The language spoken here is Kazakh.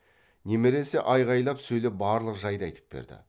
немересі айғайлап сөйлеп барлық жайды айтып берді